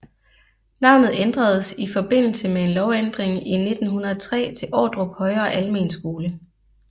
Navnet ændredes i forbindelse med en lovændring i 1903 til Ordrup højere Almenskole